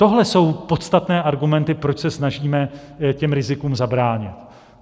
Tohle jsou podstatné argumenty, proč se snažíme těm rizikům zabránit.